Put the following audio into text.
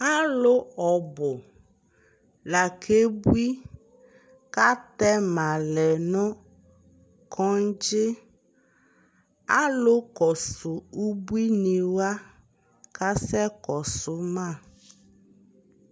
alʋ ɔbʋ la kɛ bʋi kʋ atɛma lɛnʋ kɔdzi, alʋ kɔzʋ ʋbʋini wa asɛ kɔsʋ ma